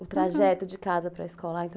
O trajeto de casa para escola?